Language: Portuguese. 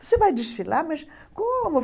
Você vai desfilar, mas como?